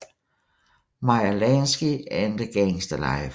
Meyer Lansky and the Gangster Life